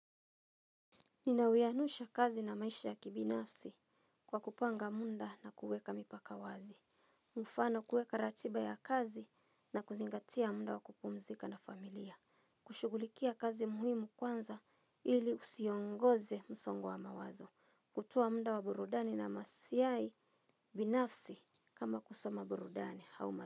Ninawianisha kazi na maisha ya kibinafsi kwa kupanga muda na kuweka mipaka wazi. Mfano kuweka ratiba ya kazi na kuzingatia muda wa kupumzika na familia. Kushugulikia kazi muhimu kwanza ili usiongoze msongo wa mawazo. Kutoa muda wa burudani na maslahi binafsi kama kusoma burudani auma.